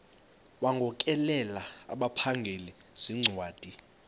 wagokelela abaphengululi zincwadi